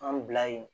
An bila yen